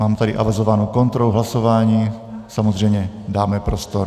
Mám tady avizovanou kontrolu hlasování, samozřejmě dáme prostor.